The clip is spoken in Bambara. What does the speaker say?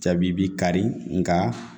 Jabibi kari nka